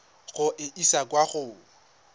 go e isa kwa go